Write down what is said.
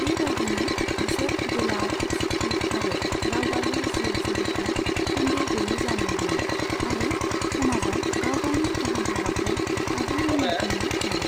बे बायदिनो, बिसोर गोलाव, सुखि आरो दावगालु जिउ जुलिखौ सन्देह गैयै जानो हायो आरो समाजाव गाव गावनि गाहाम हाबाखौ आबुङै मावफुंनो हायो।